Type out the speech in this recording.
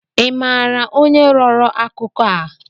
Ị maara onye rọrọ akụkọ a?